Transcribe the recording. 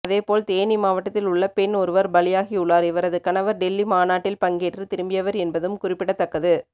அதேபோல் தேனி மாவட்டத்தில் உள்ள பெண் ஒருவர் பலியாகியுள்ளார் இவரது கணவர் டெல்லி மாநாட்டில் பங்கேற்று திரும்பியவர் என்பதும் குறிப்பிடத்தக்கது